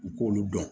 U k'olu dɔn